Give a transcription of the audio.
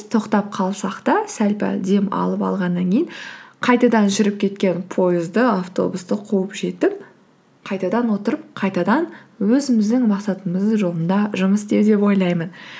тоқтап қалсақ та сәл пәл демалып алғаннан кейін қайтадан жүріп кеткен поезді автобусты қуып жетіп қайтадан отырып қайтадан өзіміздің мақсатымыздың жолында жұмыс істеу деп ойлаймын